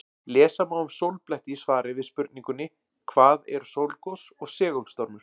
Lesa má um sólbletti í svari við spurningunni Hvað eru sólgos og segulstormur?